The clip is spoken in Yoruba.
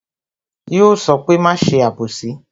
Yo sọ pé "máa ṣe abosi"